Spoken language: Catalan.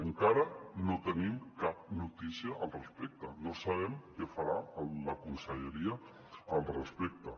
encara no tenim cap notícia al respecte no sabem què farà la conselleria al respecte